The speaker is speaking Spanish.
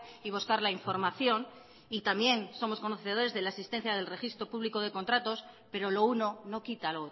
y buscar la información y también somos conocedores de la asistencia del registro público de contratos pero lo uno no quita